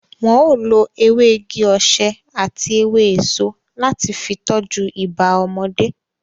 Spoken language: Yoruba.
Wọn o lo ewé igi-osè àti ewé èso láti fi tọ́jú ibà ọmọdé